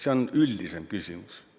See on üldisem küsimus.